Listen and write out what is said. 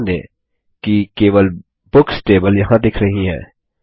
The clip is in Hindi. ध्यान दें कि केवल बुक्स टेबल यहाँ दिख रही है